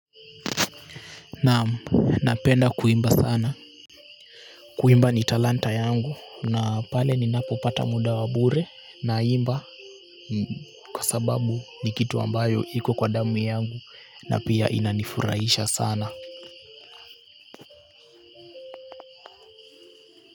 Naam napenda kuimba sana kuimba ni talanta yangu na pale ninapopata muda wa bure naimba kwa sababu ni kitu ambayo iko kwa damu yangu na pia inanifurahisha sana.